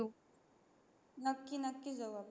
नक्की नक्की जाऊ आपण